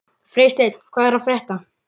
Freysteinn, hvað er að frétta?